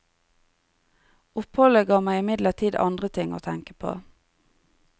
Oppholdet ga meg imidlertid andre ting å tenke på.